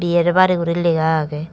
yer bari guri lega age.